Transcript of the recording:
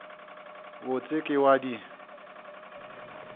bot se ke wa di